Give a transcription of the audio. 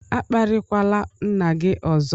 A kparịkwala nna gị ọzọ!